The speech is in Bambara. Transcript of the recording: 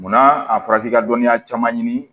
Munna a fɔra k'i ka dɔnniya caman ɲini